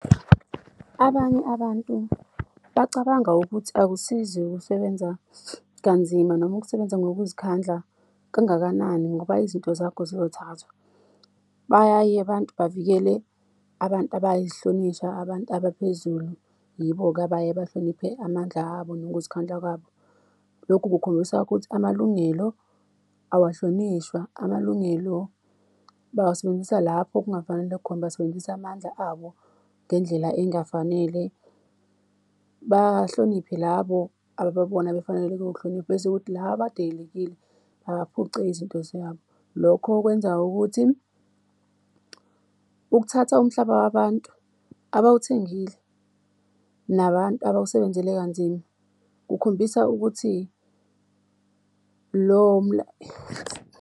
Abanye abantu bacabanga ukuthi akusizi ukusebenza kanzima noma ukusebenza ngokuzikhandla, kangakanani ngoba izinto zakho ziyothathwa. Bayaye abantu bavikele abantu abayihlonishwa, abantu abaphezulu, yibo-ke abaye bahloniphe amandla abo nokuzikhandla kwabo. Lokhu kukhombisa ukuthi amalungelo awahlonishwa, amalungelo bawasebenzisa lapho kungafanele khona, basebenzisa amandla abo ngendlela engafanele. Bahloniphe labo abababona befaneleke ukuhlonipha, bese kuthi laba abadelelekile baphucwe izinto zabo. Lokho kwenza ukuthi ukuthatha umhlaba wabantu abawuthengile nabantu abawusebenzele kanzima, kukhombisa ukuthi lo .